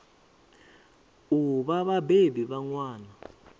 u vha vhabebi vha ṅwana